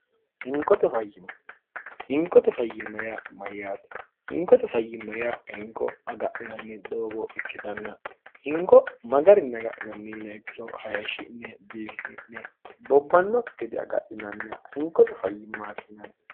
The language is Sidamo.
inkot fyimmohinkote fayyimmoya mayyaati hinkote fayyimmo ya hinko agadhinanni doogo ikkitanna hinko magarinni agadhinanni yinaekkiro hayeshshi'ne bibisi'ne bobbanno gede agadhinanniha hinkote fayyimmaati hinanni